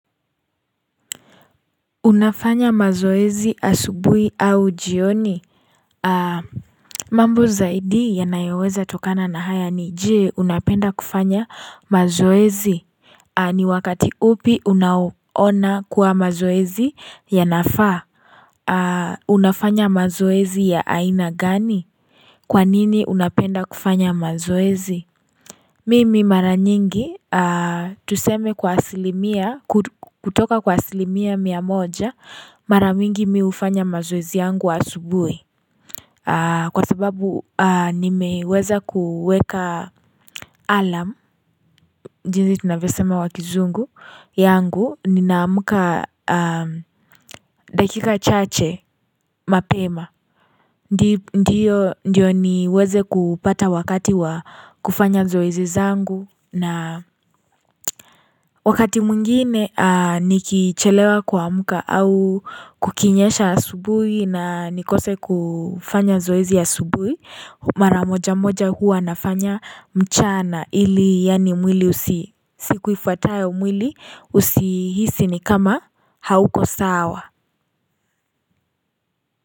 Unafanya mazoezi asubuhi au jioni? Mambo zaidi yanayoweza tokana na haya ni. Je? Unapenda kufanya mazoezi? Ni wakati upi unaoona kuwa mazoezi ya nafaa? Unafanya mazoezi ya aina gani? Kwa nini unapenda kufanya mazoezi? Mimi mara nyingi. Tuseme kutoka kwa asilimia mia moja. Mara mingi mimi ufanya mazoezi yangu asubuhi. Kwa sababu. Nimeweza kuweka alarm. Jinsi tunavyo sema kwa kizungu. Yangu ninaamka dakika chache mapema. Ndiyo niweze kupata wakati wa kufanya zoezi zangu. Na wakati mwigine nikichelewa kuamka au kukinyesha asubuhi na nikose kufanya zoezi asubuhi. Mara moja moja huwa nafanya, mchana ili yaani mwili husi. Siku ifuatayo mwili husihisi ni kama hauko sawa.